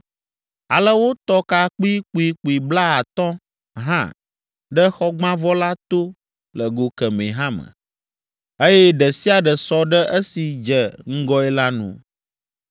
Ale wotɔ ka kpuikpuikpui blaatɔ̃ hã ɖe xɔgbãvɔ la to le go kemɛ hã me, eye ɖe sia ɖe sɔ ɖe esi dze ŋgɔe la nu.